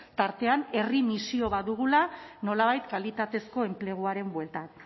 tartean herri misio bat dugula nolabait kalitatezko enpleguaren bueltan